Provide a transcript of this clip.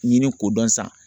Ɲini k'o dɔn san